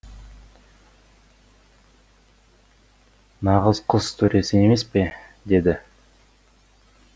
нағыз құс төресі емес пе деді